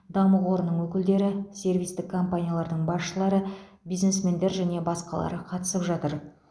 даму қорының өкілдері сервистік компаниялардың басшылары бизнесмендер және басқалары қатысып жатыр